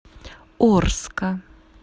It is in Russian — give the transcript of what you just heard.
орска